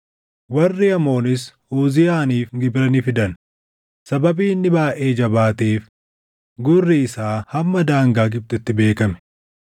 Warri Amoonis Uziyaaniif gibira ni fidan; sababii inni baayʼee jabaateef gurri isaa hamma daangaa Gibxitti beekame.